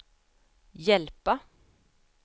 hjälpa